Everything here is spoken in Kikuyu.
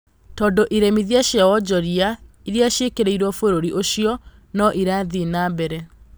Tondũ iremithia cia wonjoria iria cĩĩkĩrĩirwo bũrũri ũcio no irathiĩ na mbere.